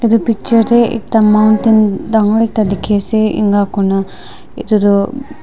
etu picture te ekta mountain dagor ekta dikhi ase ena kuri na etu tu.